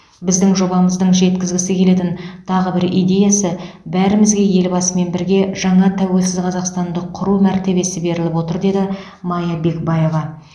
біздің жобамыздың жеткізгісі келетін тағы бір идеясы бәрімізге елбасымен бірге жаңа тәуелсіз қазақстанды құру мәртебесі беріліп отыр деді мая бекбаева